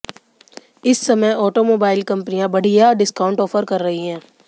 इस समय ऑटोमोबाइल कंपनियां बढ़िया डिस्काउंट ऑफर कर रही हैं